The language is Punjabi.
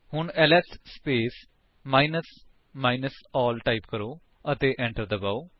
ਹੁਣ LS space minus minus ALL type ਕਰੋ ਅਤੇ enter ਦਬਾਓ